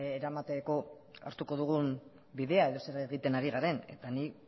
eramateko hartuko dugun bidea edo zer egiten ari garen eta nik